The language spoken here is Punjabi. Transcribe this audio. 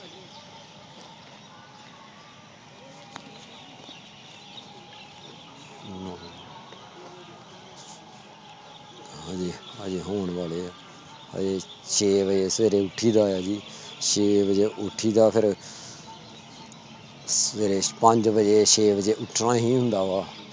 ਸਵੇਰੇ ਛੇ ਵਜੇ ਉਠਿ ਦ ਆ ਜੀ ਛੇ ਵਜੇ ਉਠਿ ਦਾ ਫੇਰ ਪੰਜ ਵਜੇ ਛੇ ਵਜੇ ਉੱਠਣਾ ਹੀ ਹੁੰਦਾ ਵਾ